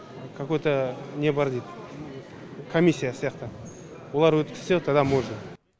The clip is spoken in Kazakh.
какой то не бар дейді комиссия сияқты олар өткізсе тогда можно